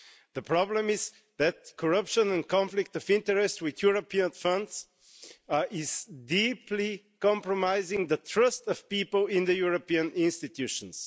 The problem is that corruption and conflicts of interest with European funds are deeply compromising the trust of people in the European institutions.